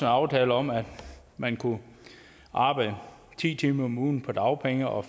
aftale om at man kunne arbejde ti timer om ugen på dagpenge og